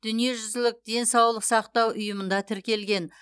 дүниежүзілік денсаулық сақтау ұйымында тіркелген